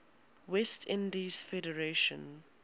west indies federation